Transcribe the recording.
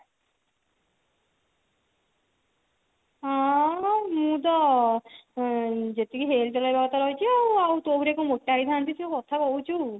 ହଁ ମୁଁ ତ ଉଁ ଯେତିକି health ରହିବା କଥା ରହିଛି ଆଉ ତୋ ପରିକା କଣ ମୋଟା ହେଇଥାନ୍ତି ଯେ କଥା କହୁଛୁ